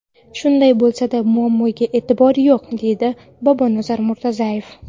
Shunday bo‘lsa-da, muammoga e’tibor yo‘q”, deydi Bobonazar Murtazoyev.